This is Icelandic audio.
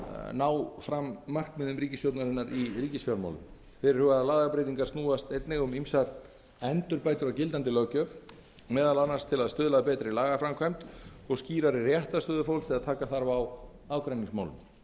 ná markmiðum ríkisstjórnarinnar í ríkisfjármálum fyrirhugaðar lagabreytingar snúast einnig um ýmsar endurbætur á gildandi löggjöf meðal annars til að stuðla að betri lagaframkvæmd og skýrari réttarstöðu fólks þegar taka þarf á ágreiningsmálum